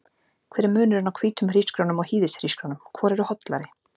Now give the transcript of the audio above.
Hver er munurinn á hvítum hrísgrjónum og hýðishrísgrjónum, hvor eru hollari?